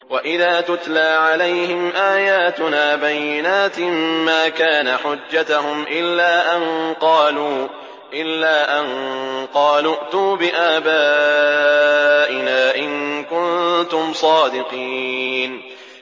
وَإِذَا تُتْلَىٰ عَلَيْهِمْ آيَاتُنَا بَيِّنَاتٍ مَّا كَانَ حُجَّتَهُمْ إِلَّا أَن قَالُوا ائْتُوا بِآبَائِنَا إِن كُنتُمْ صَادِقِينَ